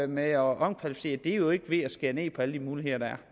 med at omkvalificere er jo ikke ved at skære ned på alle de muligheder der er